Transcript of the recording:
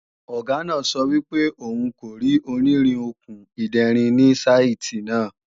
Ọ̀gá náà sọ wípé òun kò rí onírin/Okùn ìderin ni saìtì náà